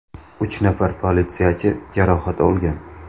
Uch nafar politsiyachi jarohat olgan.